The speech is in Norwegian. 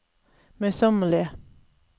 møysommelige